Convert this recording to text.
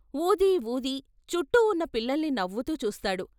వూది వూది చుట్టూ ఉన్న పిల్లల్ని నవ్వుతూ చూస్తాడు.